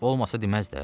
Olmasa deməz də.